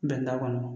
Bɛn t'a kɔnɔ